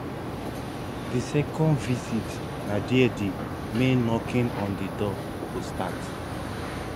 di second visit na dia di main knocking on di door go start